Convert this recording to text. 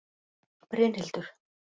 Brynhildur